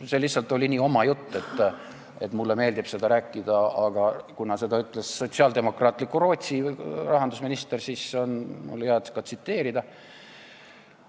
See oli lihtsalt nii minu oma jutt, et mulle meeldib seda edasi rääkida, aga kuna seda ütles sotsiaaldemokraatliku Rootsi rahandusminister, siis on mul hea ka teda tsiteerida.